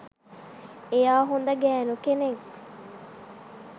එයා හොඳ ගෑනු කෙනෙක්